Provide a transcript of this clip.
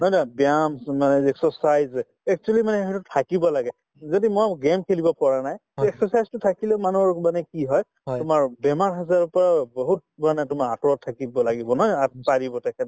নহয় জানো ব্যায়াম যিটো মানে যে exercise actually মানে সেইটো থাকিব লাগে যদি মই game খেলিব পৰা নাই তে exercise তো থাকিলে মানুহৰ মানে কি হয় তোমাৰ বেমাৰ-আজাৰৰ পৰা বহুতধৰণে তোমাৰ আতৰত থাকিব লাগিব নহয় জানো আত পাৰিব